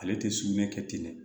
Ale tɛ sugunɛ kɛ ten dɛ